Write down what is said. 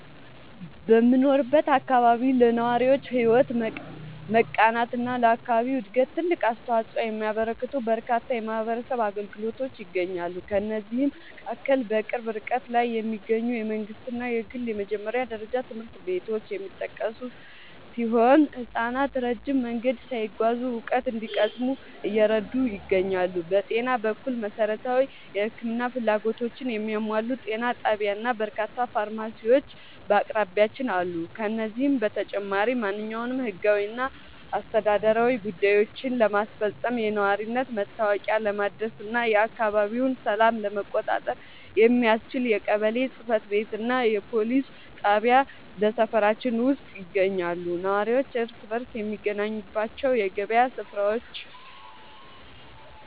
በምኖርበት አካባቢ ለነዋሪዎች ሕይወት መቃናትና ለአካባቢው ዕድገት ትልቅ አስተዋፅኦ የሚያበረክቱ በርካታ የማኅበረሰብ አገልግሎቶች ይገኛሉ። ከእነዚህም መካከል በቅርብ ርቀት ላይ የሚገኙ የመንግሥትና የግል የመጀመሪያ ደረጃ ትምህርት ቤቶች የሚጠቀሱ ሲሆን፣ ሕፃናት ረጅም መንገድ ሳይጓዙ እውቀት እንዲቀስሙ እየረዱ ይገኛሉ። በጤና በኩል፣ መሠረታዊ የሕክምና ፍላጎቶችን የሚያሟላ ጤና ጣቢያና በርካታ ፋርማሲዎች በአቅራቢያችን አሉ። ከዚህም በተጨማሪ፣ ማንኛውንም ሕጋዊና አስተዳደራዊ ጉዳዮችን ለማስፈጸም፣ የነዋሪነት መታወቂያ ለማደስና የአካባቢውን ሰላም ለመቆጣጠር የሚያስችል የቀበሌ ጽሕፈት ቤትና የፖሊስ ጣቢያ በሰፈራችን ውስጥ ይገኛሉ። ነዋሪው እርስ በርስ የሚገናኝባቸው የገበያ ሥፍራዎችና